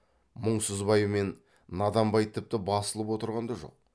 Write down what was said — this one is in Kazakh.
мұңсызбай мен наданбай тіпті басылып отырған да жоқ